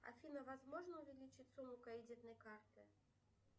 афина возможно увеличить сумму кредитной карты